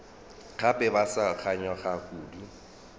gape ba sa kganyogana kudu